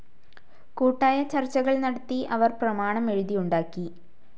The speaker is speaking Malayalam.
കൂട്ടായ ചർച്ചകൾ നടത്തി അവർ പ്രമാണം എഴുതിയുണ്ടാക്കി.